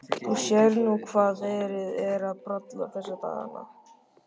Þú sérð nú hvað verið er að bralla þessa dagana.